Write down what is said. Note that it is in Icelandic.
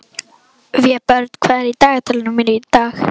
Vébjörn, hvað er í dagatalinu mínu í dag?